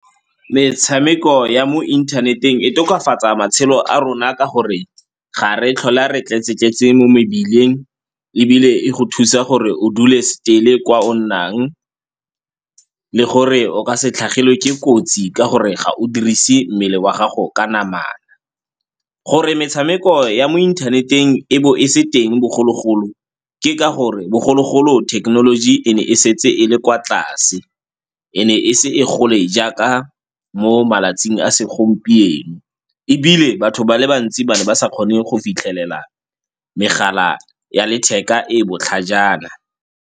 Metshameko ya mo inthaneteng e tokafatsa matshelo a rona ka gore ga re tlhola re tletse-tletse mo mebileng ebile e go thusa gore o dule still-e kwa o nnang, le gore o ka se tlhagelwe ke kotsi ka gore ga o dirise mmele wa gago ka namana. Gore metshameko ya mo inthaneteng e bo e se teng bogologolo ke ka gore bogologolo thekenoloji e ne e setse e le kwa tlase e ne ise e gole jaaka mo malatsing a segompieno ebile batho ba le bantsi ba ne ba sa kgone go fitlhelela megala ya letheka e e botlhajana.